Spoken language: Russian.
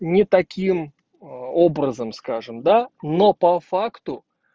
не таким а образом скажем да но по факту